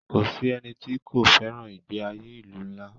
Kò sí ẹni tí kò fẹràn ìgbé ayé ilu ńlá.